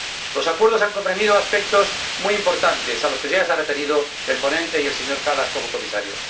Los acuerdos han comprendido aspectos muy importantes, a los que ya se han referido el ponente y el señor Kallas, como Comisario.